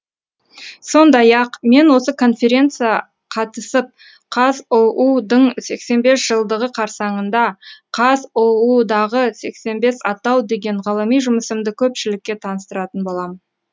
сондай ақ мен осы конференция қатысып қазұу дың сексен бес жылдығы қарсаңында қазұу дағы сексен бес атау деген ғылыми жұмысымды көпшілікке таныстыратын боламын